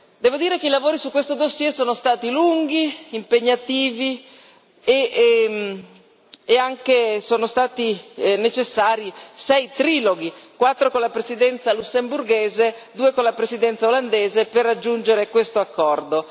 Devo dire che i lavori su questo dossier sono stati lunghi e impegnativi e sono stati necessari anche 6 triloghi 4 con la Presidenza lussemburghese e 2 con la Presidenza olandese per raggiungere questo accordo.